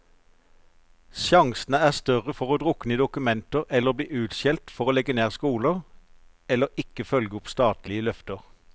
Sjansene er større for å drukne i dokumenter eller bli utskjelt for å legge ned skoler, eller ikke følge opp statlige løfter.